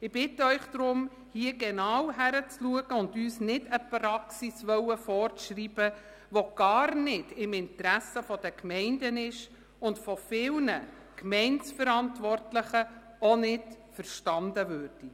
Ich bitte Sie darum, genau hinzuschauen und uns nicht eine Praxis vorzuschreiben, die gar nicht im Interesse der Gemeinden liegt und von vielen Gemeindeverantwortlichen auch nicht verstanden würde.